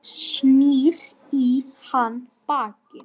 Snýr í hann baki.